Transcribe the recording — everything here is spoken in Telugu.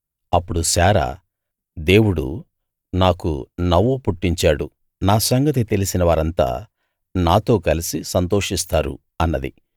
అప్పుడు శారా దేవుడు నాకు నవ్వు పుట్టించాడు నా సంగతి తెలిసినవారంతా నాతో కలసి సంతోషిస్తారు అన్నది